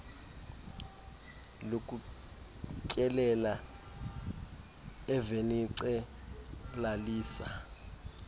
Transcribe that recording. lokutyelela evenice lalise